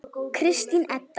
Kristín Edda.